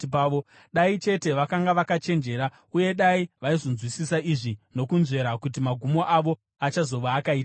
Dai chete vakanga vakachenjera uye dai vaizonzwisisa izvi nokunzvera kuti magumo avo achazova akaita sei!